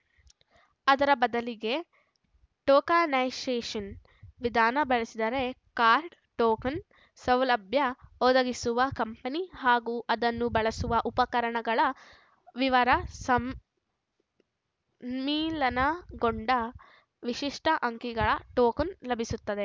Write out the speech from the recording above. ಅದರ ಬದಲಿಗೆ ಟೋಕನೈಸೇಷನ್‌ ವಿಧಾನ ಬಳಸಿದರೆ ಕಾರ್ಡ್‌ ಟೋಕನ್‌ ಸೌಲಭ್ಯ ಒದಗಿಸುವ ಕಂಪನಿ ಹಾಗೂ ಅದನ್ನು ಬಳಸುವ ಉಪಕರಣಗಳ ವಿವರ ಸಂ ಮ್ಮಿಲನಗೊಂಡ ವಿಶಿಷ್ಟ ಅಂಕಿಗಳ ಟೋಕನ್‌ ಲಭಿಸುತ್ತದೆ